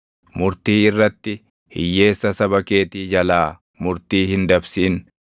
“Murtii irratti hiyyeessa saba keetii jalaa murtii hin dabsin.